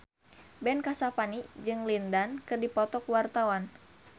Ben Kasyafani jeung Lin Dan keur dipoto ku wartawan